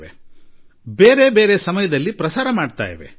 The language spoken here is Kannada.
ಪ್ರತಿಯೊಬ್ಬರದ್ದೂ ಬೇರೆ ಬೇರೆ ಸಮಯದಲ್ಲಿ ತೋರಿಸುತ್ತಿದ್ದಾರೆ ಅಷ್ಟೇ